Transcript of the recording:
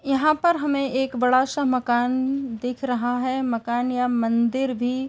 यहां पर हमें एक बड़ा सा मकान दिख रहा है। मकान या मंदिर भी --